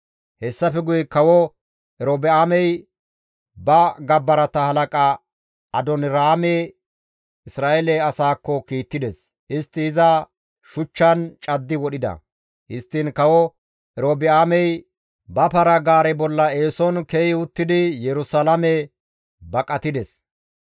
Hessafe guye kawo Erobi7aamey ba gabbarata halaqa Adooniraame Isra7eele asaakko kiittides; istti iza shuchchan caddi wodhida. Histtiin kawo Erobi7aamey ba para-gaare bolla eeson ke7i uttidi Yerusalaame baqatides.